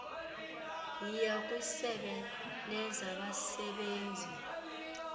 yiya kwisebe lezabasebenzi